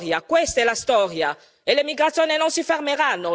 Non restate al di fuori della storia questa è la storia!